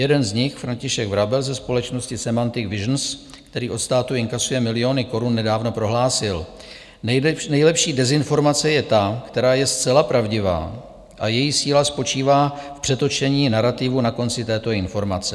Jeden z nich, František Vrabel ze společnosti Semantic Visions, který od státu inkasuje miliony korun, nedávno prohlásil: Nejlepší dezinformace je ta, která je zcela pravdivá a její síla spočívá v přetočení narativu na konci této informace.